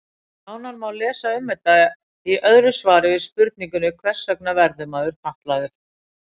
Nánar má lesa um þetta í öðru svari við spurningunni Hvers vegna verður maður fatlaður?